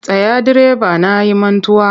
Tsaya direba na yi mantuwa!